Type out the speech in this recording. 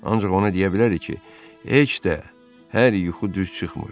Ancaq onu deyə bilərik ki, heç də hər yuxu düz çıxmır.